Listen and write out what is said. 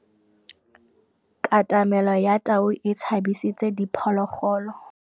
Katamêlô ya tau e tshabisitse diphôlôgôlô.